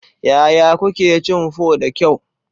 Yaya kuke cin pho da kyau?